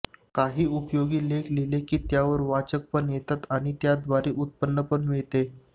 काहीउपयोगी लेख लिहिले की त्यावर वाचक पण येतात आणि त्याद्वारे उत्पन्न पण मिळते